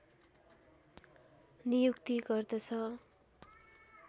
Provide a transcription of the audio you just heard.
नियुक्ति गर्दछ